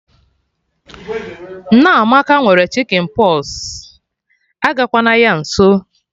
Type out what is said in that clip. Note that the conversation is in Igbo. Nneamaka nwere Chicken pox, agakwa na ya nso